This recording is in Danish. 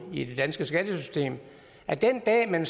i det danske skattesystem at den dag man